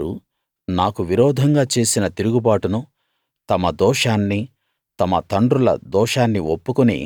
వారు నాకు విరోధంగా చేసిన తిరుగుబాటును తమ దోషాన్ని తమ తండ్రుల దోషాన్ని ఒప్పుకుని